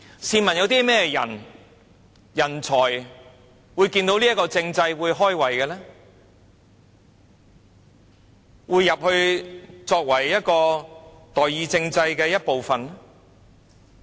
試問有甚麼人才看到這樣的政制會"開胃"，會加入成為代議政制的一部分呢？